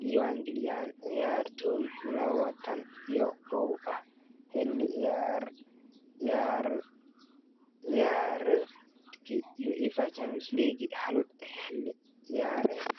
diiwaangeliyan ciyaartoy lawatan iyo kow ah xilli ciyaareedkii UEFA Champions League hal xilli ciyaareed.